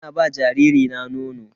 Ina ba jariri na nono.